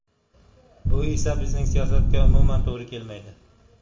Bu esa bizning siyosatga umuman to‘g‘ri kelmaydi.